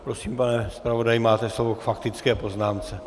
Prosím, pane zpravodaji, máte slovo k faktické poznámce.